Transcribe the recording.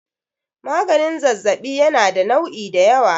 maganin zazzabi yana da nu'i da yawa